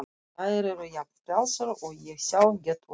Þær eru jafn frjálsar og ég sjálf get orðið.